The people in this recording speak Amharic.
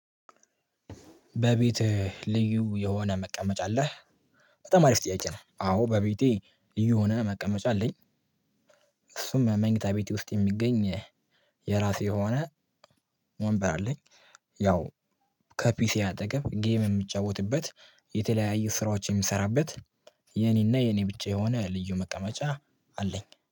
በቤት ልዩ የሆነ መቀመጫ አለህ? በጣም አሪፍ ጥያቄ ነው። አዎ በቤቴ ልዩ መቀመጫ አለኝ። እሱም መኝታ ቤቴ ውስጥ የሚገኝ የራሴ የሆነ ወንበር አለኝ። ያው ከፒሴ አጠገብ ጌም የምጫወትበት የተለያየ ስራዎችን የሚሰራበት የኔና የኔ ብቻ የሆነ ልዩ መቀመጫ አለኝ።